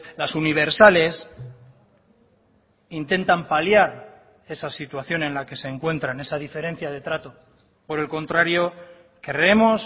las universales intentan paliar esa situación en la que se encuentran esa diferencia de trato por el contrario creemos